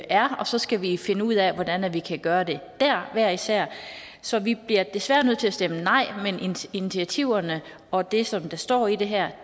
er og så skal vi finde ud af hvordan vi kan gøre det dér hver især så vi bliver desværre nødt til at stemme nej men initiativerne og det som der står i det her